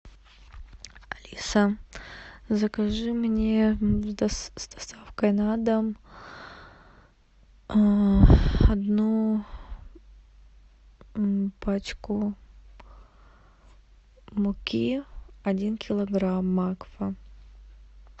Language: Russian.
алиса закажи мне с доставкой на дом одну пачку муки один килограмм макфа